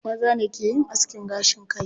Maza ne ke yin askin gashin kai.